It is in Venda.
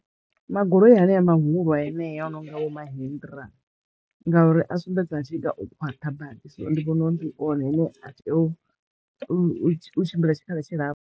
Magoloyi haneya mahulu hanea a no nga vho Mahindra ngauri a sumbedza a tshinga o khwaṱha badi so ndi vhona uri ndi one ane a teya u tshimbila tshikhala tshi lapfu.